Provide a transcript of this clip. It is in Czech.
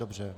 Dobře.